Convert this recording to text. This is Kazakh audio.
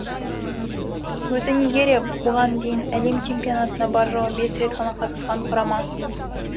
өзі нигерия бұған дейін әлем чемпионатына бар жоғы бес рет қана қатысқан құрама